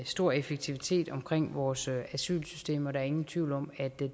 stor effektivitet omkring vores asylsystem der er ingen tvivl om at det